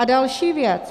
A další věc.